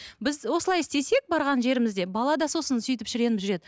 біз осылай істесек барған жерімізде бала да сосын сөйтіп шіреніп жүреді